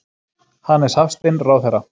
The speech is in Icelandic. Hannes Hafstein, ráðherra.